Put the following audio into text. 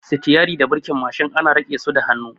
Sitiyarin da birkin Mashin ana riƙe su da hannu